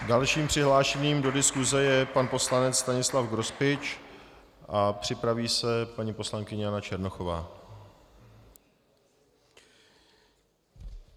Dalším přihlášeným do diskuse je pan poslanec Stanislav Grospič a připraví se paní poslankyně Jana Černochová.